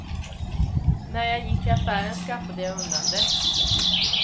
När jag gick till affären skaffade jag undan det.